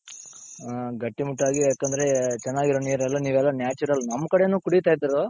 ಹ ಗಟ್ಟಿಮುಟ್ಟಾಗಿ ಯಾಕಂದ್ರೆ ಚೆನ್ನಾಗಿರೋ ನೀರೆಲ್ಲಾ ನೀವೆಲ್ಲ natural ನಮ್ ಕಡೆನು ಕುಡಿತ ಇದ್ರೂ.